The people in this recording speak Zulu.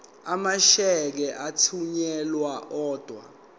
amasheke athunyelwa odwa